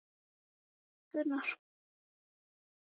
Og ykkur finnst gaman að rabba saman.